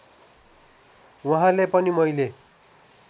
वहाँले पनि मैले